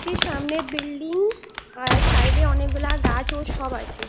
সেই সামনে বিল্ডিং আর সাইড - এ অনেকগুলা গাছ ও সব আছে।